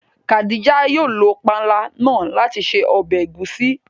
Khádíjà yóò lọ pànla náà lati ṣẹ̀ ọbẹ̀ ègúsì.